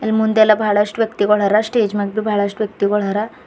ಮುಂದೆಲ್ಲಾ ಬಹಳಷ್ಟು ವ್ಯಕ್ತಿಗುಳರ ಸ್ಟೇಜ್ ಮೇಗ್ಲು ಬಹಳಷ್ಟು ವ್ಯಕ್ತಿಗುಳರ.